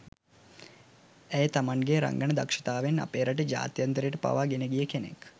ඇය තමන්ගේ රංගන දක්ෂතාවෙන් අපේ රට ජාත්‍යන්තරයට පවා ගෙනගිය කෙනෙක්.